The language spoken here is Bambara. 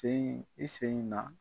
Ten i sen in na.